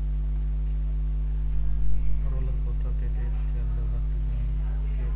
roller coaster تي ٽيپ ٿيل وقت جون ڪي